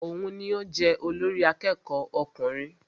Òun ní o jẹ olórí àkẹ́kọ̀ọ ọkùnrin.